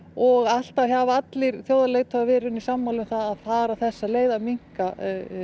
og alltaf hafa allir þjóðarleiðtogar verið sammála um að fara þessa leið að minnka